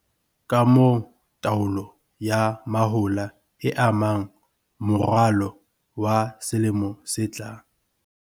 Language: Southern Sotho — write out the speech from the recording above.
Ka moo taolo ya mahola e amang moralo wa selemo se tlang.